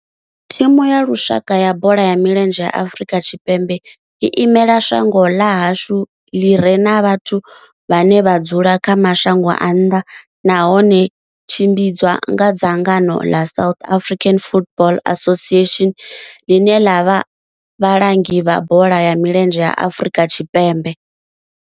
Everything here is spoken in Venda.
Thimu ya lushaka ya bola ya milenzhe ya Afrika Tshipembe i imela shango ḽa hashu ḽi re na vhathu vhane vha dzula kha mashango a nnḓa nahone tshi tshimbidzwa nga dzangano ḽa South African Football Association, ḽine ḽa vha vhalangi vha bola ya milenzhe Afrika Tshipembe.